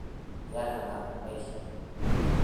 iata endaa nabaiki